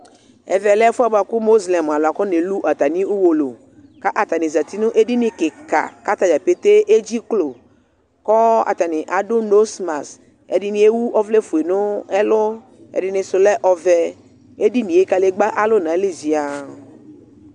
ɛvɛ le ɛfuɛ buakʋ mozlɛm alu afƐdini eu nɛlu atami uwolowuKatani zati nʋ edini kikakatani dzapete edziklo Kɔɔ atani adʋ nɔsmasƐdini ewu ɔvlɛ fue nɛlʋƐdino si lɛ ɔvɛEdinie kalegba alu nayili ziannnŋ